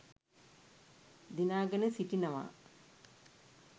දිනාගෙන සිටිනවා.